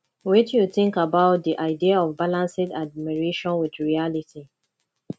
wetin you think about di idea of balancing admiration with reality